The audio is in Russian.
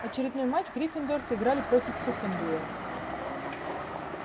очередной матч гриффиндорцы играли против пуффендуя